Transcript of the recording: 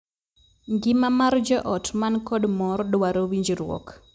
Ngima mar joot man kod mor dwaro winjruok.